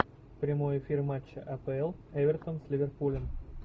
прямой эфир матча апл эвертон с ливерпулем